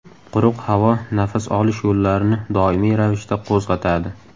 Quruq havo nafas olish yo‘llarini doimiy ravishda qo‘zg‘atadi.